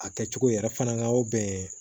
A kɛcogo yɛrɛ fana ka bɛn